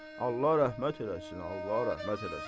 Allah rəhmət eləsin, Allah rəhmət eləsin.